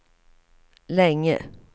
länge